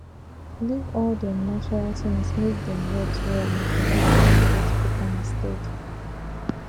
leave all dem natural things make dem rot well e go help you harvest better and steady